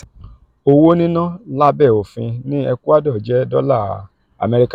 owo nina labe ofin ni ecuador jẹ dola amẹrika.